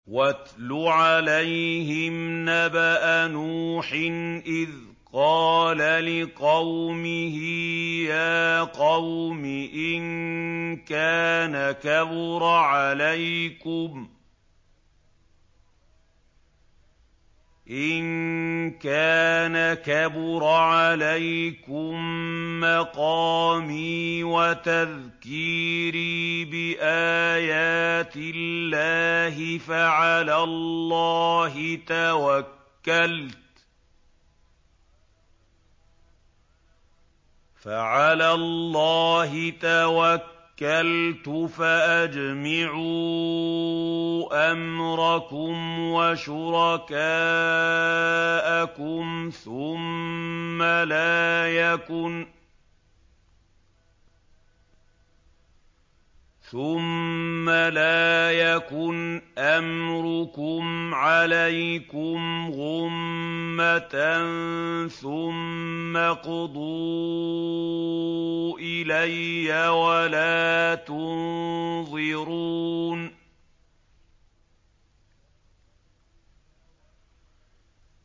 ۞ وَاتْلُ عَلَيْهِمْ نَبَأَ نُوحٍ إِذْ قَالَ لِقَوْمِهِ يَا قَوْمِ إِن كَانَ كَبُرَ عَلَيْكُم مَّقَامِي وَتَذْكِيرِي بِآيَاتِ اللَّهِ فَعَلَى اللَّهِ تَوَكَّلْتُ فَأَجْمِعُوا أَمْرَكُمْ وَشُرَكَاءَكُمْ ثُمَّ لَا يَكُنْ أَمْرُكُمْ عَلَيْكُمْ غُمَّةً ثُمَّ اقْضُوا إِلَيَّ وَلَا تُنظِرُونِ